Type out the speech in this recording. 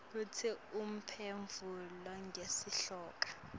kutsi uphendvula ngesihloko